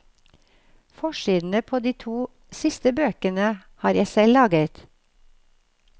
Forsidene på de to siste bøkene har jeg selv laget.